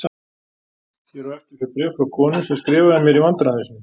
Hér á eftir fer bréf frá konu sem skrifaði mér í vandræðum sínum